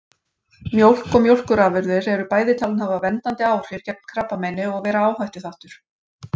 Mjólk og mjólkurafurðir eru bæði talin hafa verndandi áhrif gegn krabbameini og vera áhættuþáttur.